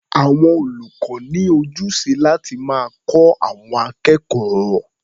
Àwọn olùkọ́ ní ojúṣe láti máa kọ́ àwọn akẹ́kọ̀ó.